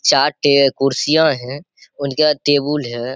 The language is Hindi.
चाट है कुर्सियाँ हैं उनके यहाँ टेबुल हैं।